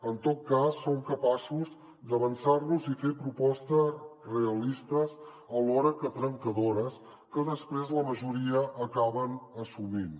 en tot cas som capaços d’avançar nos i fer propostes realistes alhora que trencadores que després la majoria acaben assumint